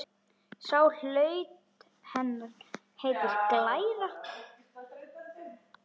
Sá hluti hennar heitir glæra.